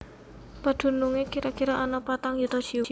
Padunungé kira kira ana patang yuta jiwa